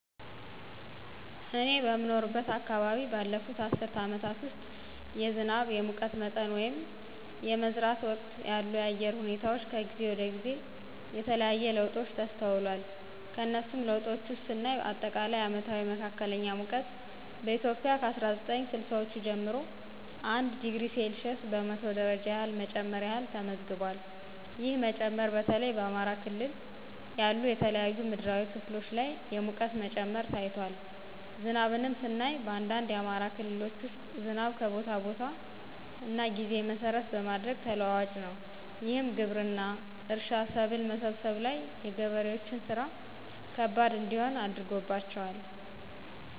እኔ በምኖርበት አከባቢ ባለፉት አስርት አመታት ውስጥ የዝናብ፣ የሙቀት መጠን ወይንም የመዝራት ወቅት ያሉ የአየር ሁኔታወች ከጊዜ ወደ ጊዜ የተለያየ ለውጦች ተስተውሏል። ከነሱም ለውጦች ውስጥ ስናይ አጠቃላይ አመታዊ መካከለኛ ሙቀት በኢትዮጵያ ከ አስራ ዘጠኝ ስልሳወቹ ጀምሮ 1°c በመቶ ደረጃ ያህል መጨመር ያህል ተመዝግቧል። ይህ መጨመር በተለይ በአማራ ክልል ያሉ የተለያዩ ምድራዊ ክፍሎች ላይ የሙቀት መጨመር ታይቷል። ዝናብንም ስናይ በአንዳንድ የአማራ ክልሎች ውስጥ ዝናብ ከቦታ ቦታ እና ጊዜ መሰረት በማድረግ ተለዋዋጭ ነው። ይህም ግብርና፣ እርሻ፣ ሰብል መሰብሰብ ላይ የገበሬዎችን ስራ ከባድ እንዲሆን አድርጎባቸዋል።